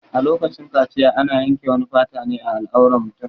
A lokacin kaciya ana yanke wani fata ne a al'auran mutum